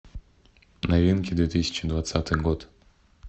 новинки две тысячи двадцатый год